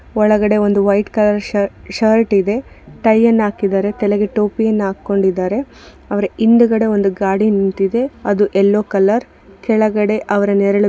ಒಳಗಡೆ ಒಂದು white colour ಶರ್ ಶರ್ಟ್ ಇದೆ ಟೈ ಅನ್ನ ಹಾಕಿದ್ದಾರೆ ತಲೆಗೆ ಟೋಪಿಯನ್ನ ಹಾಕ್ಕೊಂಡಿದ್ದಾರೆ ಅವ್ರ್ ಹಿಂದ್ಗಡೆ ಒಂದು ಗಾಡಿ ನಿಂತಿದೆ ಅದು ಯಲ್ಲೋ ಕಲ್ಲರ್ ಕೆಳಗಡೆ ಅವ್ರ್ ನೆರಳು --